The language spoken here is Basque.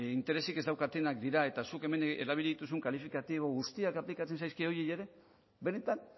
interesik ez daukatenak dira eta zuk hemen erabili dituzun kalifikatibo guztiak aplikatzen zaizkie horiei ere benetan